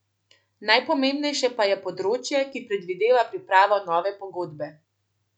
Najpomembnejše pa je področje, ki predvideva pripravo nove pogodbe.